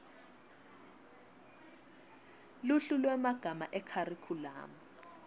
luhlu lwemagama ekharikhulamu